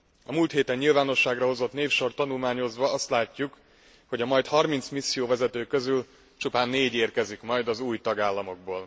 A múlt héten nyilvánosságra hozott névsort tanulmányozva azt látjuk, hogy a majd harminc misszióvezető közül csupán négy érkezik majd az új tagállamokból.